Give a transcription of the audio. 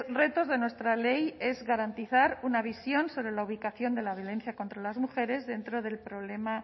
retos de nuestra ley es garantizar una visión sobre la ubicación de la violencia contra las mujeres dentro del problema